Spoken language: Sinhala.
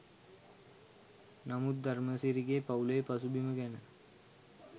නමුත් ධර්මසිරිගේ පවු‍ලේ පසුබිම ගැන